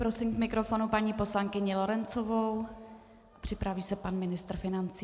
Prosím k mikrofonu paní poslankyni Lorencovou, připraví se pan ministr financí.